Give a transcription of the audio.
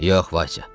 Yox, Vasya.